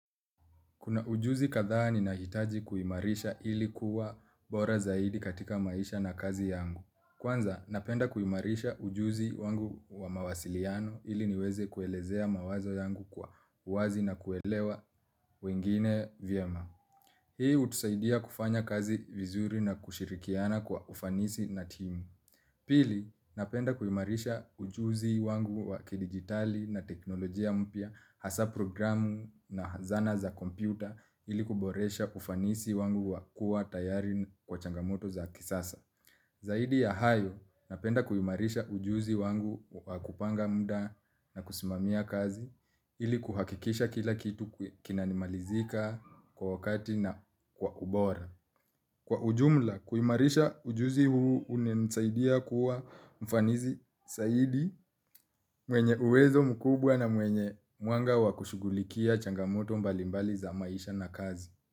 Kuna ujuzi kadhaa ninahitaji kuimarisha ilikuwa bora zaidi katika maisha na kazi yangu. Kwanza, napenda kuimarisha ujuzi wangu wa mawasiliano ili niweze kuelezea mawazo yangu kwa uwazi na kuelewa wengine vyema. Hii hutusaidia kufanya kazi vizuri na kushirikiana kwa ufanisi na team. Pili, napenda kuimarisha ujuzi wangu wakidigitali na teknolojia mpya, hasaa programu na hazana za kompyuta ili kuboresha ufanisi wangu wakuwa tayari kwa changamoto za kisasa. Zaidi ya hayo, napenda kuimarisha ujuzi wangu wa kupanga muda na kusimamia kazi ili kuhakikisha kila kitu kinanimalizika kwa wakati na kwa ubora. Kwa ujumla, kuimarisha ujuzi huu unanisaidia kuwa mfanisi zaidi mwenye uwezo mkubwa na mwenye mwanga wakushugulikia changamoto mbalimbali za maisha na kazi.